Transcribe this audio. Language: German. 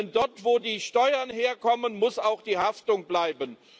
Denn dort, wo die Steuern herkommen, muss auch die Haftung bleiben.